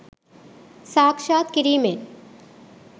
සාක්ෂාත් කිරීමෙන්